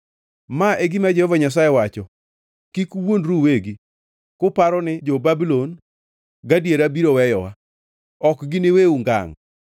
“Ma e gima Jehova Nyasaye wacho: Kik uwuondru uwegi, kuparo ni, ‘Jo-Babulon gadiera biro weyowa.’ Ok giniweu ngangʼ!